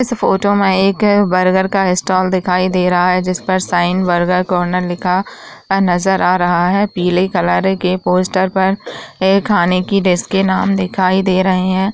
इस फोटो में एक बर्गर का स्टाल दिखाई दे रहा है जिस पर शाइन बर्गर कॉर्नर लिखा नजर आ रहा है। पीले कलर के पोस्टर पर ए खाने की डिश के नाम दिखाई दे रहे हैं।